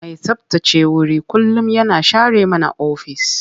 Mai tsabtace wuri kullum yana share mana ofis.